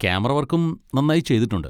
Camera വർക്കും നന്നായി ചെയ്തിട്ടുണ്ട്.